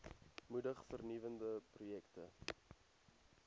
moedig vernuwende projekte